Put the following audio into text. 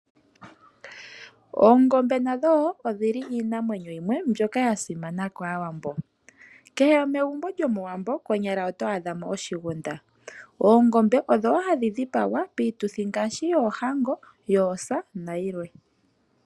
Oongombe nadho odhili iinamwenyo yimwe mbyoka ya simana kaawambo. Kehe egumbo lyomowambo konyala oto adha mo oshigunda . Oongombe odho hadhi dhipagwa piituthi ngaashi oohango, yoosa nayilwe.